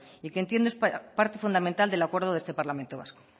y que entiende parte fundamental del acuerdo de este parlamento vasco